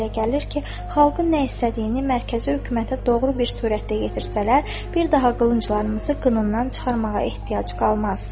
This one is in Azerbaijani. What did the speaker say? Mənə belə gəlir ki, xalqın nə istədiyini mərkəzi hökumətə doğru bir surətdə yetirsələr, bir daha qılınclarımızı qınından çıxarmağa ehtiyac qalmaz.